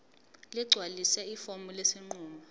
ligcwalise ifomu lesinqumo